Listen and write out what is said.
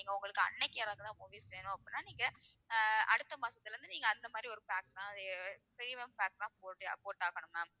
நீங்க உங்களுக்கு அன்னைக்கு இறங்குன movies வேணும் அப்படின்னா நீங்க அஹ் அடுத்த மாசத்துல இருந்து நீங்க அந்த மாதிரி ஒரு pack தான் அஹ் premium pack தான் போட்டே போட்டு ஆகணும் ma'am